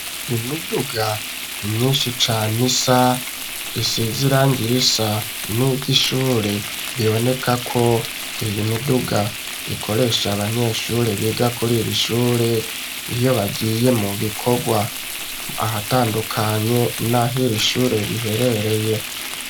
Imiduga myishi cane isa isize irangi risa niryi shure bibonekako iyi miduga ikoresha abanyeshure biga kuri iri shure iyo bagiye mu bikorwa ahatandukanye naho iri shure riherereye